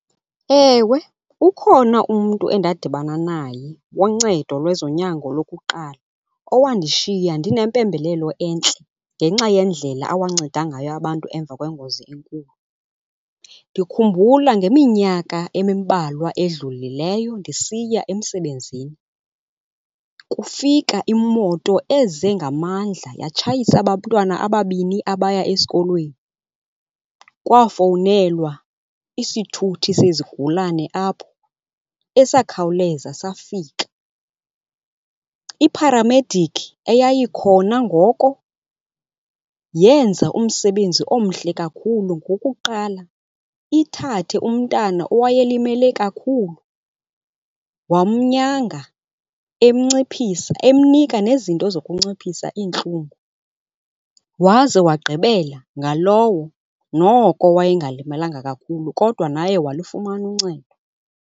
Ewe, ukhona umntu endadibana naye woncedo lwezonyango lokuqala owandishiya ndinempembelelo entle ngenxa yendlela awanceda ngayo abantu emva kwengozi enkulu. Ndikhumbula ngeminyaka emimbalwa edlulileyo ndisiya emsebenzini kufika imoto eze ngamandla yatshayisa abantwana ababini abaya esikolweni. Kwafowunelwa isithuthi sezigulane apho esakhawuleza safika. Ipharamedikhi eyayikhona ngoko yenza umsebenzi omhle kakhulu ngokuqala ithathe umntana owayelimele kakhulu wamnyanga emnciphisa, emnika nezinto zokunciphisa iintlungu. Waze wagqibela ngalowo noko wayengalimalanga kakhulu kodwa naye walufumana uncedo.